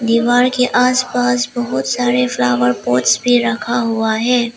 दीवार के आस पास बहोत सारे फ्लावर पॉट्स भी रखा हुआ है।